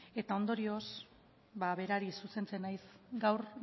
eta ondorioz ba berari zuzentzen naiz gaur